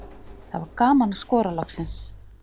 Það var gaman að skora loksins.